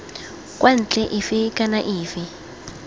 kwa ntle efe kana efe